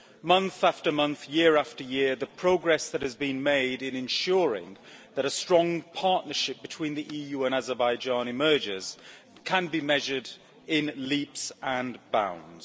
Month after month, year after year, the progress that has been made in ensuring that a strong partnership between the EU and Azerbaijan emerges can be measured in leaps and bounds.